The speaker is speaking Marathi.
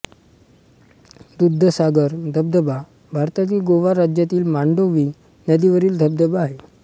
दूधसागर धबधबा भारतातील गोवा राज्यातील मांडोवी नदीवरील धबधबा आहे